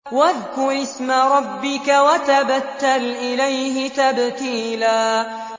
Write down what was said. وَاذْكُرِ اسْمَ رَبِّكَ وَتَبَتَّلْ إِلَيْهِ تَبْتِيلًا